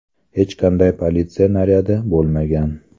Hech qanday politsiya naryadi bo‘lmagan.